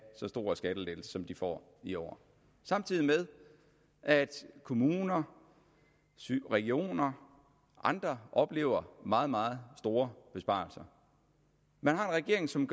så store skattelettelser som de får i år samtidig med at kommuner regioner og andre oplever meget meget store besparelser man har en regering som